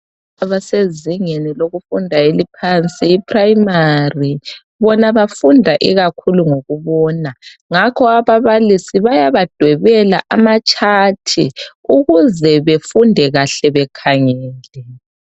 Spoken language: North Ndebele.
Abasezingeni lokufunda eliphansi iprimary bona bafunda ikakhulu ngokubona ngakho ababalisi bayaba dwebela ama chart ukuze befunde kahle bekhangele .